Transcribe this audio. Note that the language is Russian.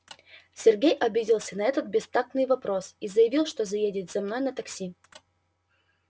сергей обиделся на этот бестактный вопрос и заявил что заедет за мной на такси